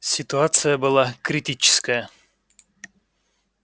ситуация была критическая